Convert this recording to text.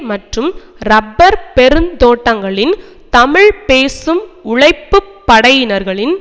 மற்றும் றப்பர் பெருந்தோட்டங்களின் தமிழ் பேசும் உழைப்பு படையினர்களின்